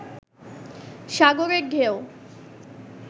সাগরের ঢেউ